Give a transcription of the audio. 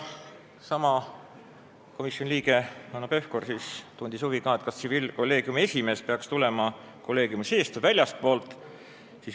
Sama komisjoni liige Hanno Pevkur tundis veel huvi, kas tsiviilkolleegiumi esimees peaks tulema kolleegiumi seest või väljastpoolt.